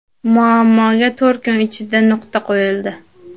Muammoga to‘rt kun ichida nuqta qo‘yildi.